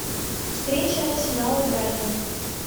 встреча арсенал и брайтон